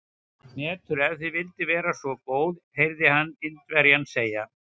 Hnetur, ef þú vildir vera svo góð heyrði hann Indverjann segja.